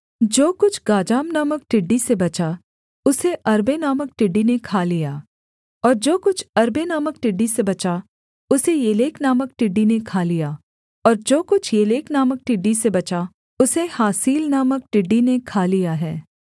जो कुछ गाजाम नामक टिड्डी से बचा उसे अर्बे नामक टिड्डी ने खा लिया और जो कुछ अर्बे नामक टिड्डी से बचा उसे येलेक नामक टिड्डी ने खा लिया और जो कुछ येलेक नामक टिड्डी से बचा उसे हासील नामक टिड्डी ने खा लिया है